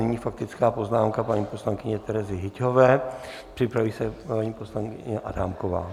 Nyní faktická poznámka paní poslankyně Terezy Hyťhové, připraví se paní poslankyně Adámková.